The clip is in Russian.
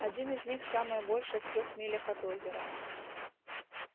один из них самое большее в трёх милях от озера